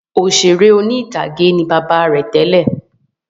Òṣèré orí-ìtàgé ni bàbá rẹ̀ tẹ́lẹ̀